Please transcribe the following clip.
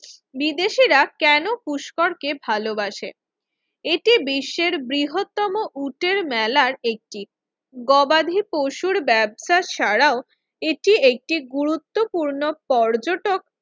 বিদেশিরা কেন পুষ্কর কে ভালোবাসে? এটি বিশ্বের বৃহত্তম উটের মেলা একটি গবাদি পশুর ব্যবসার ছাড়াও এটি একটি গুরুত্বপূর্ণ পর্যটক